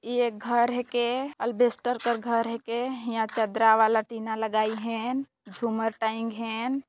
ये घर हे के अलबेष्टर का घर हे के यहा चादरा वाला टीना लगाईं हैन झूमर टेंग हेन।